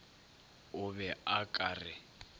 o be o ka re